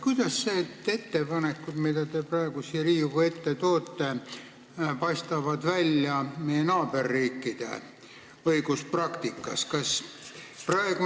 Kuidas need ettepanekud, mis te praegu siia Riigikogu ette olete toonud, paistavad välja meie naaberriikide õiguspraktika taustal?